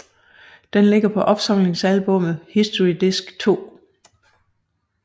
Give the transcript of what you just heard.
Den ligger på opsamlingsalbummet History disc 2